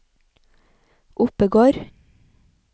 Oppegård